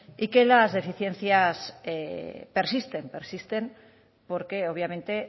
y que las deficiencias persisten persisten porque obviamente